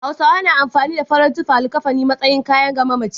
Hausawa na amfani da farar tufa (LIKAFANI) a matsayin kayan ga mamaci.